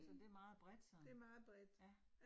Så det meget bredt sådan. Ja